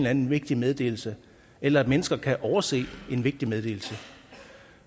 anden vigtig meddelelse eller at mennesker kan overse en vigtig meddelelse